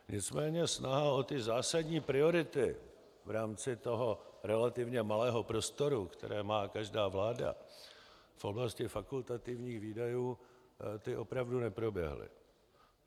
Nicméně snaha o ty zásadní priority v rámci toho relativně malého prostoru, které má každá vláda v oblasti fakultativních výdajů, ty opravdu neproběhly.